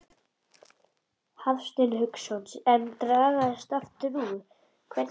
Hafsteinn Hauksson: En dragast aftur úr, hvernig þá?